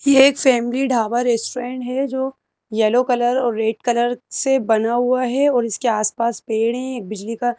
ये एक family dhaba restaurant है जो येलो कलर और रेड कलर से बना हुआ है और इसके आसपास पेड़ हैं बिजली का--